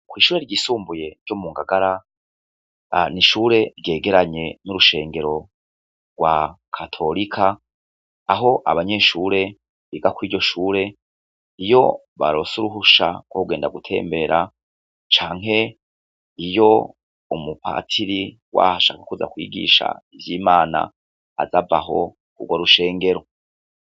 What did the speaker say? Kw'ishure ryisumbuye ryo mu Ngagara, ni ishure ryegeranye n'urushengero rwa katorika, aho abanyeshure, biga kw'iryo shure, iyo baronse uruhusha rwo kugenda gutembera, canke iyo umupatiri waho ashaka kuza kwigisha ivy'Imana aza ava aho k'urwo rushengero.